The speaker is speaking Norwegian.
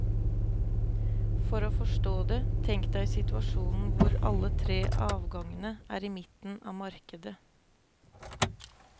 For å forstå det, tenk deg situasjonen hvor alle tre avgangene er i midten av markedet.